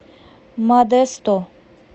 модесто